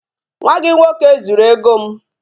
Nwa gị nwoke zuru ego m